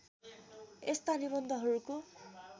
यस्ता निबन्धहरूको